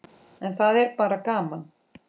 En það er bara gaman.